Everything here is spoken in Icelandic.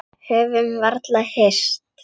Höfðum varla hist.